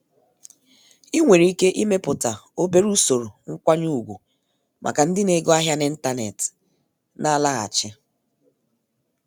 Ị nwèrè iké imépùta obere ùsòrò nkwányé ùgwù màkà ndị na ego ahịa n'ịntanetị na-àlaghàchi.